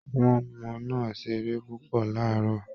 Àwọn ọmọ náà ṣeré púpọ̀ láàárọ̀